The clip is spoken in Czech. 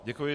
Děkuji.